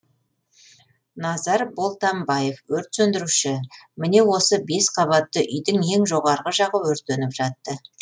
назар болтамбаев өрт сөндіруші міне осы бес қабатты үйдің ең жоғарғы жағы өртеніп жатты